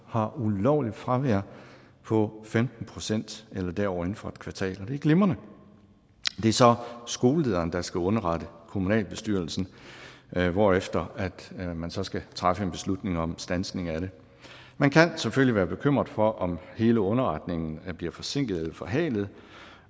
har ulovligt fravær på femten procent eller derover inden for et kvartal og det er glimrende det er så skolelederen der skal underrette kommunalbestyrelsen hvorefter man så skal træffe en beslutning om standsning af det man kan selvfølgelig være bekymret for om hele underretningen bliver forsinket eller forhalet